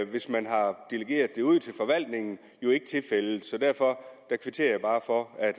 hvis man har delegeret det ud til forvaltningen ikke tilfældet så derfor kvitterer jeg bare for at